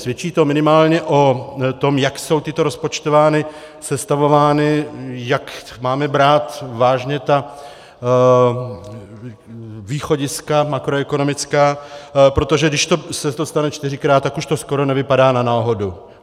Svědčí to minimálně o tom, jak jsou tyto rozpočtovány, sestavovány, jak máme brát vážně ta východiska makroekonomická, protože když se to stane čtyřikrát, tak už to skoro nevypadá na náhodu.